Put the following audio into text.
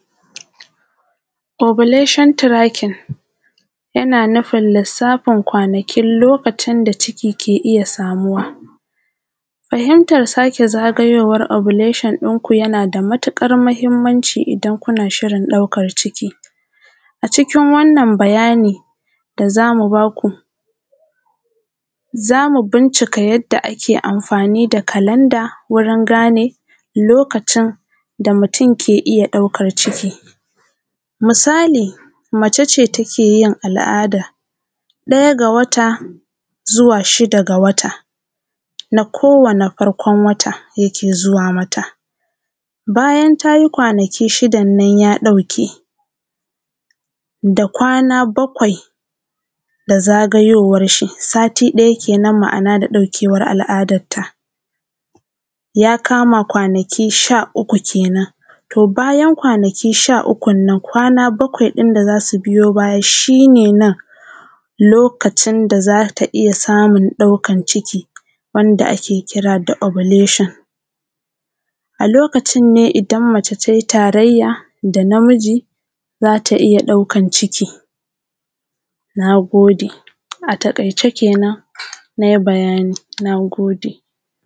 obilashon tirakin yana nufin lisafin kwanakin lokacin da ciki ke iya samu. Farimtan sake zagayowa obilashon in kuna yana da matuƙar mahimmanci idan kuna shirin ɗaukan ciki. A cikin wannan bayani da za mu baku, za mu bincika yadda ake amfani da kalanda wurin gane lokacin da mutum ke iya ɗaukar ciki. Misali, mace ce take yin al’ada ɗaya ga wata zuwa shida ga wata. Na kowane farkon wata yake zuwa mata. Bayan ta yi kwanaki shidan nan, ya ɗauke da kwana bakwai, da zagayowarshi sati ɗaya kenan. Ma’ana, da ɗaukewar al’adarta, ya kama kwanaki sha uku kenan. To, bayan kwanaki sha uku nan, kwana bakwain nan da za su biyu baya, shi ne nan lokacin da za ta iya samuⁿ ɗaukan ciki, wanda ake kira da oblashon. A lokacin ne idan mace tai taraya da namiji, za ta iya ɗaukan ciki. Na gode. A taƙaice kenan, na yi bayani. Na gode.